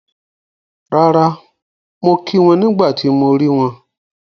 Rárà, mo kí wọn nígbà tí mo rí wọn